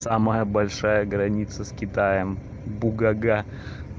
самая большая граница с китаем бугага